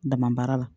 Dama baara la